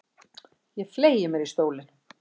Ég fleygi mér í stólinn.